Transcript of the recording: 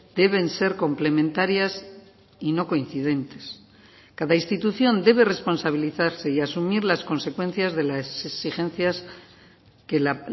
deben ser complementarias y no coincidentes cada institución debe responsabilizarse y asumir las consecuencias de las exigencias que la